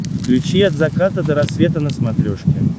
включи от заката до рассвета на смотрешке